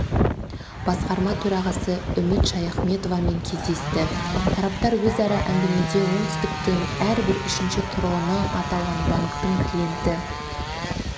басқарма төрағасы үміт шаяхметовамен кездесті тараптар өзара әңгімеде оңтүстіктің әрбір үшінші тұрғыны аталған банктің клиенті